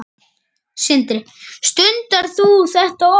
Sindri: Stundar þú þetta oft?